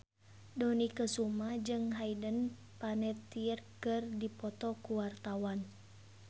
Dony Kesuma jeung Hayden Panettiere keur dipoto ku wartawan